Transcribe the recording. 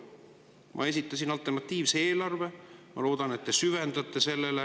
Ma esitasin alternatiivse eelarve, ma loodan, et te süvendate seda.